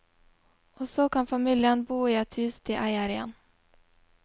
Og så kan familien bo i et hus de eier igjen.